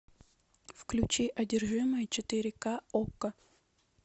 включи одержимые четыре ка окко